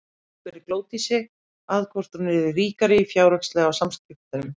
Arnar spurði Glódísi að því hvort hún yrði ríkari fjárhagslega á skiptunum?